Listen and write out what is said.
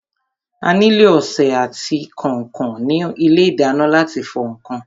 A nílò ọsẹ àti kànkàn ní ilé ìdáná láti fọ ǹkan.